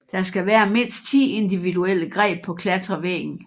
Der skal være mindst 10 individuelle greb på klatrevæggen